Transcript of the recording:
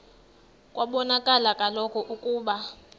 kwabonakala kaloku ukuba